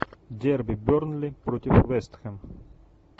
дерби бернли против вест хэм